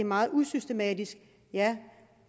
meget usystematisk